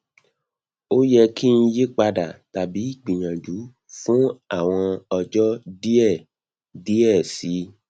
o yẹ ki n yipada tabi gbiyanju fun awọn ọjọ diẹ diẹ sii